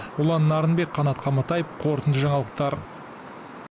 ұлан нарынбек қанат қаматаев қорытынды жаңалықтар